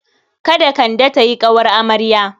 Kada Kande ta yi ƙawar amarya.